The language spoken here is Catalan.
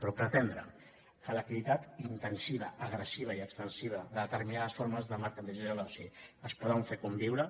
però pretendre que l’activitat intensiva agressiva i extensiva de determinades formes de mercantilització de l’oci es poden fer conviure